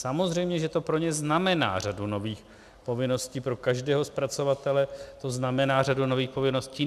Samozřejmě že to pro ně znamená řadu nových povinností, pro každého zpracovatele to znamená řadu nových povinností.